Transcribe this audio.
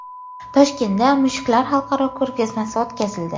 Toshkentda mushuklar xalqaro ko‘rgazmasi o‘tkazildi .